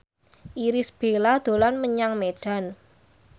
Irish Bella dolan menyang Medan